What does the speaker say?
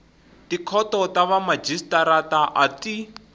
tikhoto ta vamajisitarata a ti